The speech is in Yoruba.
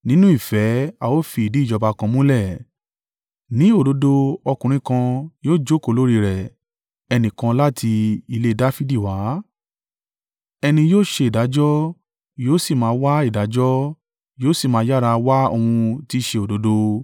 Nínú ìfẹ́ a ó fi ìdí ìjọba kan múlẹ̀, ní òdodo ọkùnrin kan yóò jókòó lórí rẹ̀ ẹnìkan láti ilé Dafidi wá. Ẹni yóò ṣe ìdájọ́, yóò sì máa wá ìdájọ́, yóò sì máa yára wá ohun tí í ṣe òdodo.